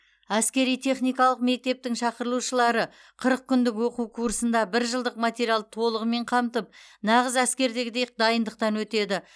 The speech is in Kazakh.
әскери техникалық мектептің шақырылушылары қырық күндік оқу курсында бір жылдық материалды толығымен қамтып нағыз әскердегідей дайындықтан өтеді